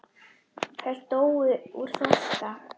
Þær dóu úr þorsta.